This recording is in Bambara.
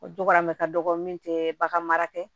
O dugamu ka dɔgɔ min tɛ bagan mara tɛ